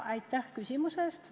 Aitäh küsimuse eest!